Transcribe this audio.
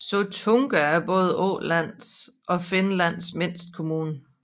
Sottunga er både Ålands og Finlands mindste kommune